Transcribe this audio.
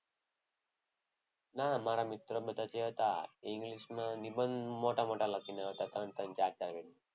ના મારા મિત્ર જે બધા હતા. એ ઇંગ્લિશમાં નિબંધ મોટા મોટા લખીને આવતા. ત્રણ ત્રણ ચાર ચાર પેજના.